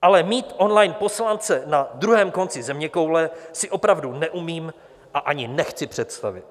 Ale mít on-line poslance na druhém konci zeměkoule si opravdu neumím a ani nechci představit.